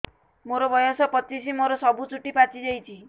ମୋର ବୟସ ପଚିଶି ମୋର ସବୁ ଚୁଟି ପାଚି ଯାଇଛି